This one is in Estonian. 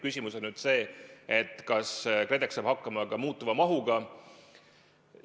Küsimus on see, kas KredEx saab hakkama ka muutuva mahuga.